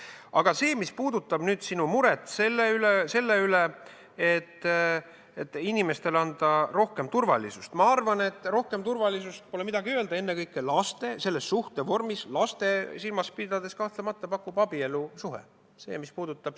Aga mis puudutab sinu muret selle pärast, et tuleks anda inimestele rohkem turvalisust, siis ma arvan, et rohkem turvalisust, pole midagi öelda, pakub selles vormis ja lapsi silmas pidades kahtlemata abielusuhe.